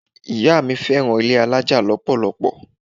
Ìyá mi fẹ́ràn ilé alájà lọ́pọ̀lọpọ̀.